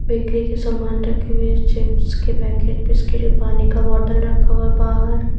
Bakery के सामान रखे हुए है चिप्स के पैकेट बिस्किट और पानी का बॉटल रखा हुआ बाहर।